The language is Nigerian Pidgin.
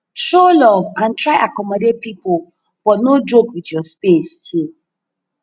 show love and try accommodate pipo but no joke with your space too